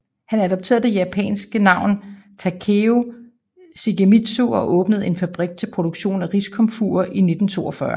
Han adopterede det japanske navn Takeo Shigemitsu og åbnede en fabrik til produktion af riskomfurer i 1942